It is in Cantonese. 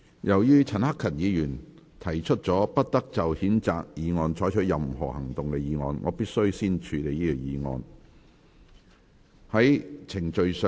由於陳克勤議員提出了"不得就譴責議案再採取任何行動"的議案，我必須先處理這項議案。